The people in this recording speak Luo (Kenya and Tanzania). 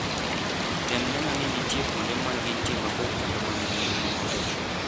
Tem neno ni nitie kuonde ma gintie maber kendo ma nigi ngima maber.